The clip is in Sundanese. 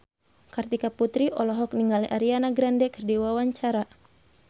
Kartika Putri olohok ningali Ariana Grande keur diwawancara